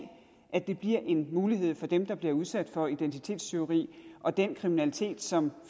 at det bliver en mulighed for dem der bliver udsat for identitetstyveri og den kriminalitet som